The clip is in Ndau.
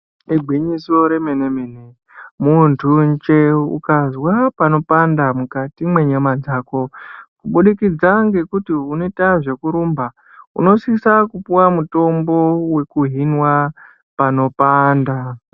Igwinyiso remene-mene, muntunje ukazwa panopanda mukati mwenyama dzako, kubudikidza ngekuti, unoita zvekurumba, unosisa kupuwa mutombo wekuhinwa panopanda.